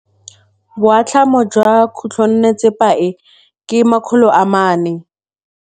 Boatlhamô jwa khutlonnetsepa e, ke 400.